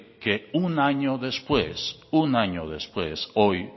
que un año después un año después hoy